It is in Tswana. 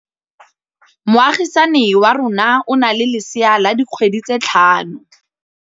Moagisane wa rona o na le lesea la dikgwedi tse tlhano.